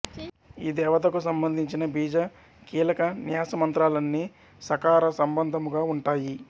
ఈ దేవతకు సంబధించిన బీజ కీలక న్యాస మంత్రాలన్నీ స కార సంబంధముగా ఉంటాయి